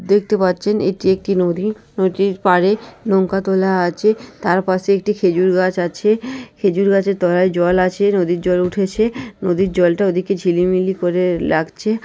দেখতে পাচ্ছেন এটি একটি নদী। নদীর পাড়ে নৌকা তোলা আছে । তার পাশে একটি খেজুর গাছ আছে । খেজুর গাছের তলায় জল আছে। নদীর জল উঠেছে । নদীর জলটা ওদিকে ঝিলিমিলি করে লাগছে।